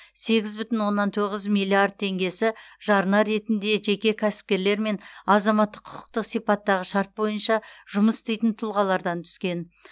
сегіз бүтін оннан тоғыз миллиард теңгесі жарна ретінде жеке кәсіпкерлер мен азаматтық құқықтық сипаттағы шарт бойынша жұмыс істейтін тұлғалардан түскен